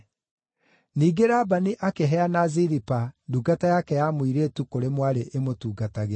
Ningĩ Labani akĩheana Zilipa, ndungata yake ya mũirĩtu kũrĩ mwarĩ ĩmũtungatagĩre.